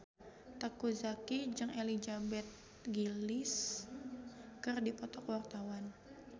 Teuku Zacky jeung Elizabeth Gillies keur dipoto ku wartawan